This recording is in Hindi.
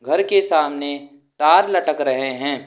घर के सामने तार लटक रहे हैं।